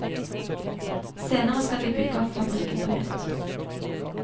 Senere skal de bygge opp fabrikken på nytt.